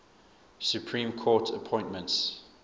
supreme court appointments